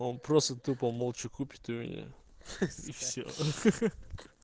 просто ты помолчи купить у меня